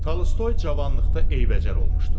Talstoy cavanlıqda eybəcər olmuşdu.